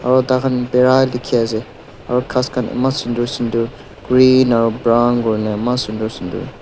Aro thakhan bera dekhey ase aro ghas khan eman sundur sundur green aro brown kurina eman sundur sundur.